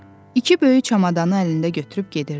İki böyük çamadanı əlində götürüb gedirdi.